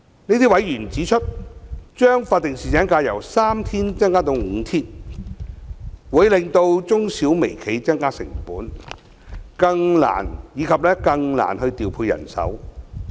這些委員指出，將法定侍產假由3天增加至5天，會令中小微企增加成本，以及更難調配人手。